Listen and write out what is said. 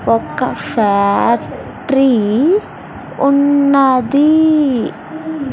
ఒక ఫ్యాక్ట్రీ ఉన్నది.